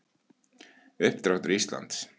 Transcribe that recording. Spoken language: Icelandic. Uppdráttur Íslands.